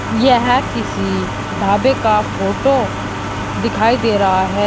यह किसी ढाबे का फोटो दिखाई दे रहा है।